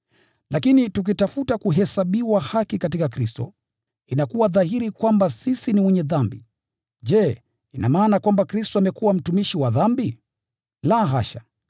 “Lakini tukitafuta kuhesabiwa haki katika Kristo, inakuwa dhahiri kwamba sisi ni wenye dhambi. Je, ina maana kwamba Kristo amekuwa mtumishi wa dhambi? La hasha!